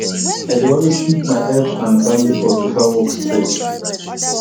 i dey always keep my health and family first over work stress